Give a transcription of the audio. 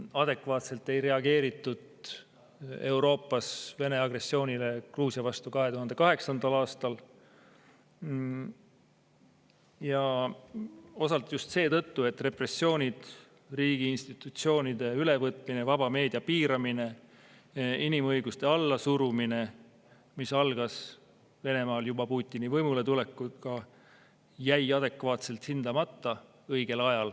Adekvaatselt ei reageeritud Euroopas Vene agressioonile Gruusia vastu 2008. aastal, ja seda osalt just seetõttu, et repressioonid, riigiinstitutsioonide ülevõtmine, vaba meedia piiramine, inimõiguste allasurumine, mis algas Venemaal juba Putini võimuletulekuga, jäid õigel ajal adekvaatselt hindamata.